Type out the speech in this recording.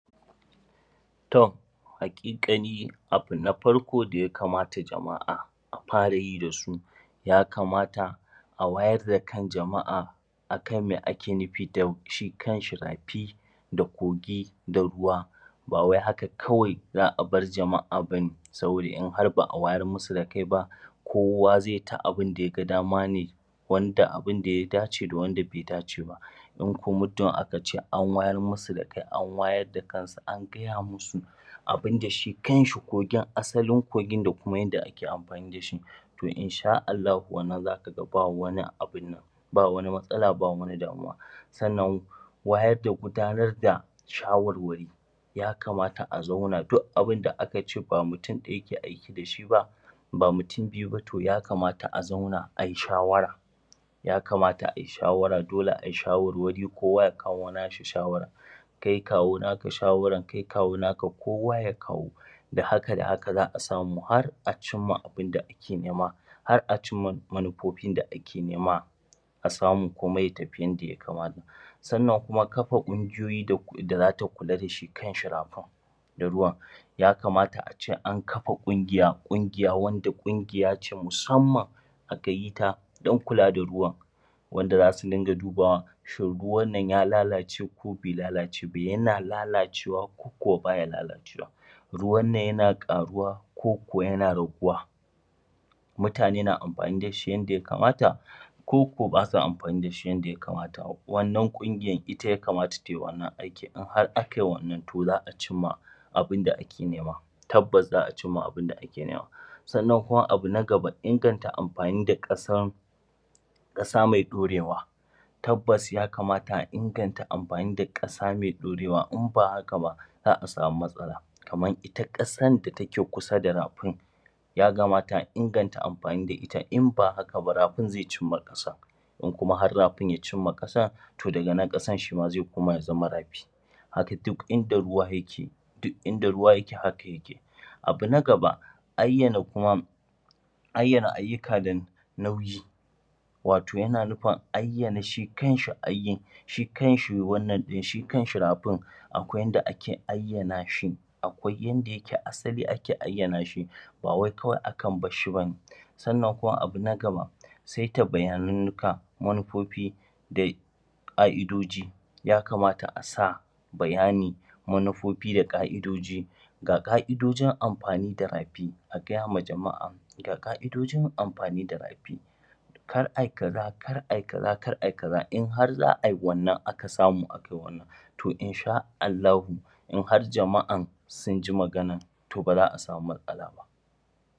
To haƙiƙani abu na farko da ya kamata jama'a a fara yi da su ya kamata a wayar da kan jama'a a kan me ake nufi da shi kanshi rafi. da kogi da ruwa. Ba wai haka kawai za a bar jama'a ba ne, saboda in har ba awayar masu da kai ba, kowa zai ta abinda ya gadama ne wanda abinda ya dace da wanda bai dace ba. In kuma mutum aka ce an wayar masa da kai an wayar da kansu an gaya musu abinda shi kanshi kogin asalin kogin da kuma yanda ake amfani da shi. To in ash Allahu wannan za ka ga ba wani abunnan ba wani matsala ko damuwa. Sannan wayar da gudanar da shawarwari ya kamata a zauna duk abunda aka ce ba mutum ɗaya ke aiki da shi ba. ba mutum biyu ba to ya kamata a zauna ayi shawara. yakamata a yi shawara, dole a yi shawarwari kowa ya kawo nashi shawara kai kawo naka shawaran kai kawo naka kowa ya kawo da haka da haka za a samu har a cimma abinda ake nema. har a cimma manufofin da ake nema. a samu komai ya tafi yadda ya ka, ata. Sannan kuma kafa ƙungiyoyi da za ta kula da shi kanshi rafin. da ruwan, ya kamata a ce an kafa ƙungiya wadda ƙungiya ce musamman a ka yi ta don kula da ruwan. wanda za su rinƙa dubawa shin ruwan ya lalace ko bai lalace ba. Yana lalacewa ko bai lalacewa. ruwannan yana ƙaruwa koko yana raguwa Mutane na amfani da shi yadda ya kamata. koko ba ka amfani da shi yadda ya kamata wannan ƙungiyar ita ya kamata ta yi wannan aikin in dai akai wannan to za a cimma abun da ake nema tabbas za cimma abun da ake nema. Sannan kuma abu na gaba inganta amfanin da ƙasan ƙasa mai ɗorewa. Tabbas ya kamata a inganta amfani da ƙasa mai ɗorewa in ba haka ba za a samu matsala kamar ita ƙasan da take kusa da rafin Ya kamata a inganta amfani da ita, in ba haka ba rafin zai cimma ƙasa. In kuma har rafin ya cimma ƙasa, to daga nan ƙasan zai koma ya zama rafi. Haka duk inda ruwa yake haka yake. Abu na gaba, ayyana Ayyana ayyuka da nauyi Wato yana nufin ayyana shi kanshi aikin shi kanshi rafin Akwai yadda ake ayyana shi Akwai yadda ayke asali ake ayyana shi ba wai kawai akan bar shi ba ne. Sannan kuma abu na gaba saita bayananka, manufofi da ƙa'idoji, ya kamata a sa bayanin manufofi da ƙa'idoji da ƙa'idojin amfani da rafi a gaya wa jama'a ga ƙa'idojin amfani da rafi. Kar ai kaza akar ai kaza kar ai kaza in har za ai wannan aka samu akai wannan to in sha Allahu in har jama'an sun ji maganan to ba za a samu matsala ba.